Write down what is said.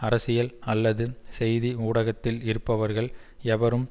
அரசியல் அல்லது செய்தி ஊடகத்தில் இருப்பவர்கள் எவரும்